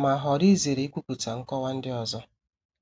ma họọrọ izere ikwupụta nkọwa ndị ọzọ.